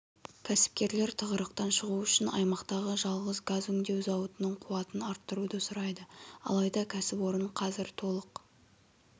кәсіпкерлер тығырықтан шығу үшін аймақтағы жалғыз газ өңдеу зауытының қуатын арттыруды сұрайды алайда кәсіпорын қазір толық